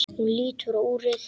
Hún lítur á úrið.